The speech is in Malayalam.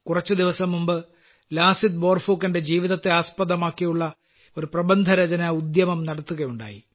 കുറച്ചുദിവസം മുമ്പ് ലാസിത് ബോർഫുക്കന്റെ ജീവിതത്തെ ആസ്പദമാക്കിയുള്ള ഒരു പ്രബന്ധരചനാ ഉദ്യമം നടത്തുകയുണ്ടായി